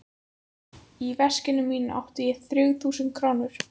Í veskinu mínu átti ég þrjú þúsund krónur.